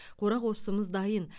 қора қопсымыз дайын